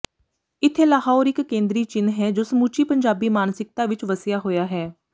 ਇੱਥੇ ਲਾਹੌਰ ਇੱਕ ਕੇਂਦਰੀ ਚਿੰਨ੍ਹ ਹੈ ਜੋ ਸਮੁੱਚੀ ਪੰਜਾਬੀ ਮਾਨਸਿਕਤਾ ਵਿੱਚ ਵਸਿਆ ਹੋਇਆ ਹੈ